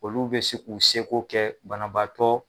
Olu bɛ se k'u seko kɛ banabaatɔ